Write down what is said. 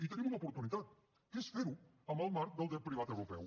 i tenim una oportunitat que és ferho en el marc del dret privat europeu